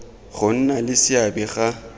go nna le seabe ga